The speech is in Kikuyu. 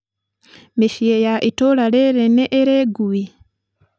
mĩciĩ ya itũũra rĩĩrĩ nĩ ĩrĩ ngui?